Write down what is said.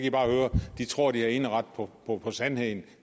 i bare høre de tror de har eneret på sandheden